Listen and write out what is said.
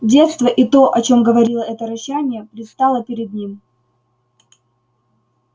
детство и то о чем говорило это рычание предстало перед ним